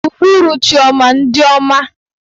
Uhuruchi ọma ndị ọma.